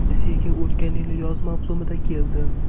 Rossiyaga o‘tgan yil yoz mavsumida keldim.